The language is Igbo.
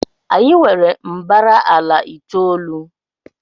anyị nwere mbara ala itoolu